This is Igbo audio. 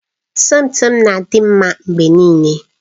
Somto na-adị mma mgbe niile